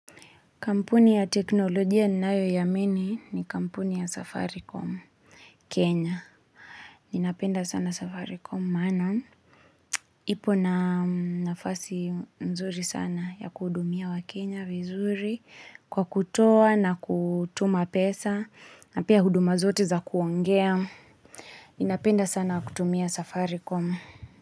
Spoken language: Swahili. Kampuni ya teknolojia ninayoiamini ni kampuni ya safaricom Kenya. Ninapenda sana safaricom maana ipo na nafasi mzuri sana ya kuhudumia Wakenya vizuri kwa kutoa na kutuma pesa na pia huduma zote za kuongea. Ninapenda sana kutumia safaricom.